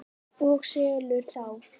Og selur þá.